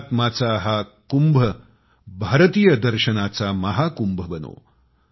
अध्यात्माचा हा कुंभ भारतीयांसाठी भारतात दर्शनांचा महाकुंभ बनो